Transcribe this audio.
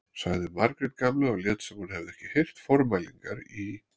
sagði Margrét gamla og lét sem hún hefði ekki heyrt formælingarnar í